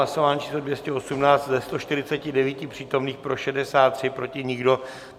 Hlasování číslo 218, ze 149 přítomných pro 63, proti nikdo.